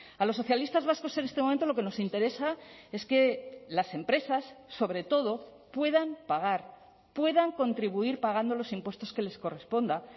a los socialistas vascos en este momento lo que nos interesa es que las empresas sobre todo puedan pagar puedan contribuir pagando los impuestos que les corresponda